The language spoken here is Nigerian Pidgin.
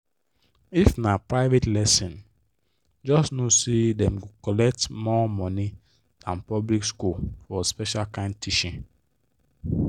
if na private lesson just know say dem go collect more money than public school for special kind teaching.